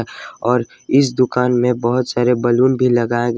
और इस दुकान में बहोत सारे बैलून भी लगाए गए--